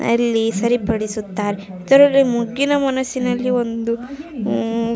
ಸರಿಪಡಿಸುತ್ತಾರೆ ಇದರಲ್ಲಿ ಮೊಗ್ಗಿನ ಮನಸಿನಲ್ಲಿ ಒಂದು ಹ್ಮ್ಮ್ --